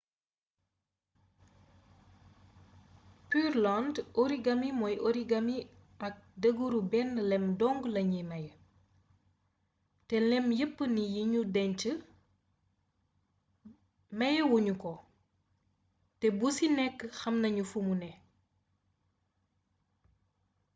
pureland origami mooy origami ak deegeeru bénn lém dong lañu mayé té lém yepp ni yi nu déñcee yi mayé wunu ko té bu si nekk xam nañu fumu né